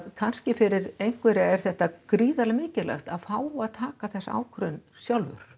kannski fyrir einhverja er þetta gríðarlega mikilvægt að fá að taka þessa ákvörðun sjálfur